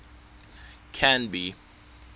canby